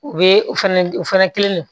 U bɛ u fɛnɛ u fɛnɛ